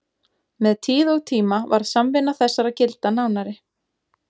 Með tíð og tíma varð samvinna þessara gilda nánari.